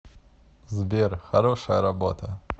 сбер хорошая работа